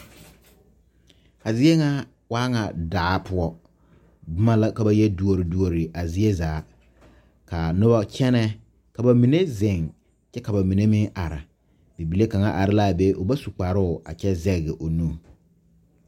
A zie ŋa waa ŋa daa poɔ boma la ka ba yɛ duori duori zie zaa ka noba kyɛnɛ ka ba mine zeŋ kyɛ ka ba mine meŋ are bibile kaŋ are la a be o ba su kparoo kyɛ zɛge o nu.